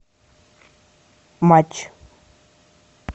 матч